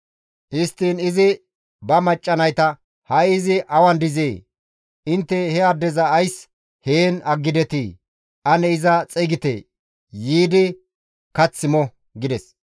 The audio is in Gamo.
Histtiin izi ba macca nayta, «Ha7i izi awan dizee? Intte he addeza ays heen aggidetii? Ane iza xeygite; yiidi kath mo» gides.